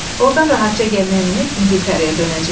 Ordan rahatca gəmiyə minib İngiltərəyə dönəcəyik.